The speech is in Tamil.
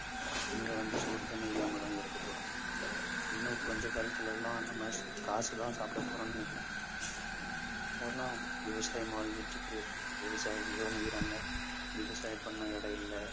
இங்க வந்து சோறு தண்ணி இல்லாமதாங்க இருக்கப்போறோம் இன்னும் கொஞ்ச காலத்துல எல்லாம் நம்ம காசுதான் சாப்பிட போறோம்னு நினைக்கிறேன் இப்ப எல்லா விவசாயமும் அழிஞ்சிட்டு இருக்கு. விவசாயிங்களும் அழியறாங்க. விவசாயம் பண்ண இடம் இல்லை.